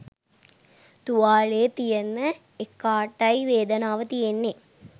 තුවාලේ තියෙන එකාටයි වේදනාව තියෙන්නේ